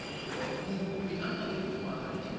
mokopi a le dingwaga di